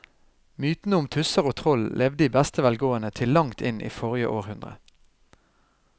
Mytene om tusser og troll levde i beste velgående til langt inn i forrige århundre.